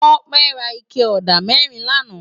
Tope rá iké ódá mèrín làná